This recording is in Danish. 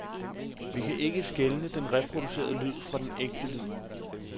Vi kan ikke skelne den reproducerede lyd fra den ægte lyd.